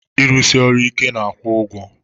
Ịrụsi ọrụ ike na-akwụ ụgwọ